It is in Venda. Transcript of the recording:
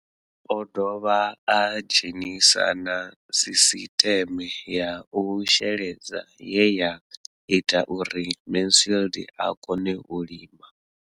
O ḓo dovha a dzhenisa na sisiṱeme ya u sheledza ye ya ita uri Mansfied a kone u lima.